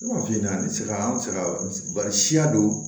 an bɛ se ka an fɛ yan siya don